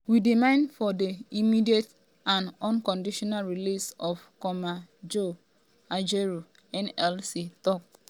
we demand for di immediate um and unconditional release of comrade joe um ajaero nlc tok.